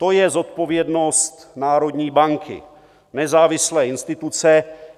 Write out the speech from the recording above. To je zodpovědnost národní banky, nezávislé instituce.